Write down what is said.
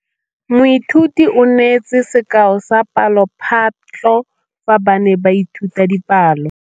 Moithuti o neetse sekaô sa palophatlo fa ba ne ba ithuta dipalo.